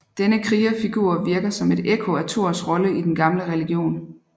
Denne krigerfigur virker som et ekko af Thors rolle i den gamle religion